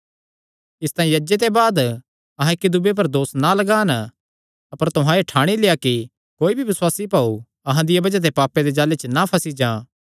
इसतांई अज्जे ते बाद अहां इक्की दूये पर दोस ना लगान अपर तुहां एह़ ठाणी लेआ कि कोई भी बसुआसी भाऊ अहां दिया बज़ाह ते पापे दे जाल़े च ना फंसी जां